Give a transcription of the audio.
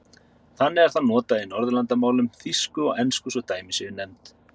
Þannig er það notað í Norðurlandamálum, þýsku og ensku svo dæmi séu nefnd.